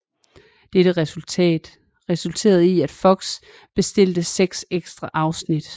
Dette resulterede i at FOX bestilte seks ekstra afsnit